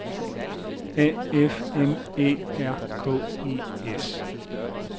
A F M Æ R K E S